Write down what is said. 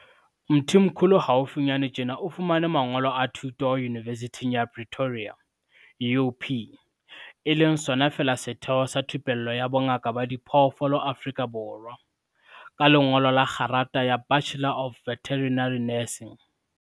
Mthimkhulu haufinyana tjena o fumane mangolo a thuto Yunivesithing ya Pre toria, UP, e leng sona feela setheo sa thupello ya bo ngaka ba diphoofolo Afrika Borwa, ka lengolo la kgerata ya Bachelor of Veterinary Nursing.